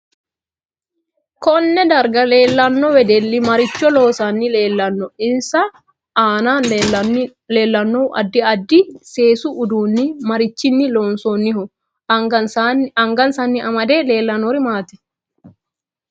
Konne darga leelanno wedelli maricho loosanni leelanno insa aane leelanno addi addi seesu uduuni marichini loonsooniho angasanni amade leelanori maati